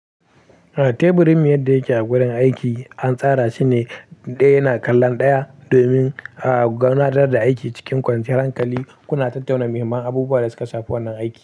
Teburin mu yadda yake a gurin aiki an tsara shine ɗaya yana kallon ɗaya domin gudanar da aiki cikin kwanciyar hankali. Kuna tattauna muhimman abubuwanda suka shafi wannan aiki.